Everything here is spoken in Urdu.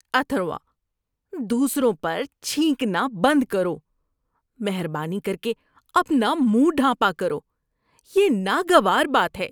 اتھروا، دوسروں پر چھینکنا بند کرو۔ مہربانی کر کے اپنا منہ ڈھانپا کرو۔ یہ ناگوار بات ہے۔